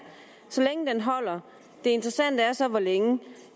så længe den holder det interessante er så hvor længe